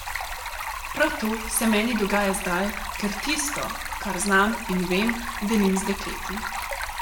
Prav to se meni dogaja zdaj, ker tisto, kar znam in vem, delim z dekleti.